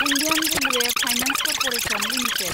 Indian Railway Finance Corporation limited